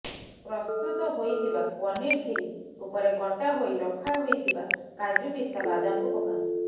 ପ୍ରସ୍ତୁତ ହୋଇଥିବା ପନିର କ୍ଷୀରୀ ଉପରେ କଟା ହୋଇ ରଖା ହୋଇଥିବା କାଜୁ ପିସ୍ତା ବାଦାମକୁ ପକାନ୍ତୁ